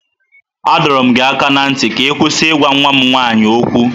A dọọrọ m gị aka ná ntị ka ị kwụsị ịgwa nwa m nwaanyị okwu!